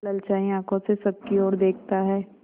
ललचाई आँखों से सबकी और देखता है